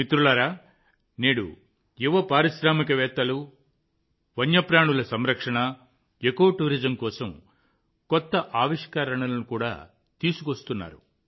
మిత్రులారా నేడు యువ పారిశ్రామికవేత్తలు వన్యప్రాణుల సంరక్షణ ఎకో టూరిజం కోసం కొత్త ఆవిష్కరణలను కూడా తీసుకువస్తున్నారు